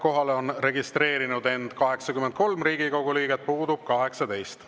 Kohalolijaks on end registreerinud 83 Riigikogu liiget, puudub 18.